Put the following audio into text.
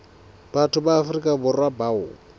batho ba afrika borwa bao